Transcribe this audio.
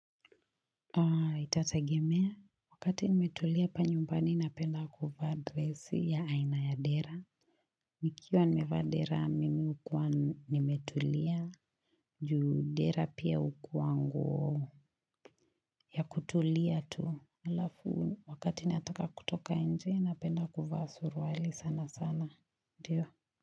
Itategemea, wakati nimetulia hapa nyumbani napenda kuvaa dresi ya aina ya dera. Nikiwa nimevaa dera, mimi hukuwa nimetulia, juu dera pia hukua nguo ya kutulia tu. Halafu, wakati nataka kutoka nje, napenda kuvaa suruali sana sana, ndio.